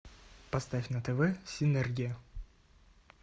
поставь на тв синергия